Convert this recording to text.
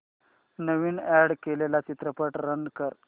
नवीन add केलेला चित्रपट run कर